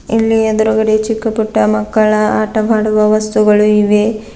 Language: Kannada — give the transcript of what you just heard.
ಇಲ್ಲಿ ಎದ್ರುಗಡೆ ಚಿಕ್ಕಪುಟ್ಟ ಮಕ್ಕಳ ಆಟವಾಡುವ ವಸ್ತುಗಳು ಇವೆ.